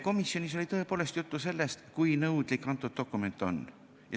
Komisjonis oli tõepoolest juttu sellest, kui nõudlik kõnealune dokument on.